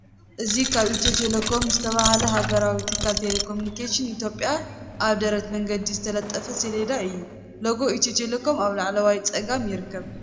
እዚ ካብ ኤትዮ ቴሌኮም ዝተባህለ ሃገራዊ ትካል ተሌኮሙኒኬሽን ኢትዮጵያ ኣብ ደረት መገዲ እተለጠፈ ሰሌዳ እዩ። ሎጎ ኤትዮ ቴሌኮም ኣብ ላዕለዋይ ጸጋም ይርከብ።